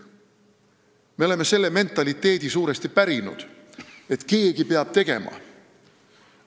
Me oleme suuresti pärinud selle mentaliteedi, et keegi peab tegema.